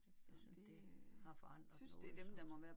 Så det har forandret noget voldsomt